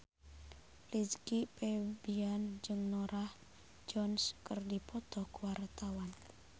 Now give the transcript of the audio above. Rizky Febian jeung Norah Jones keur dipoto ku wartawan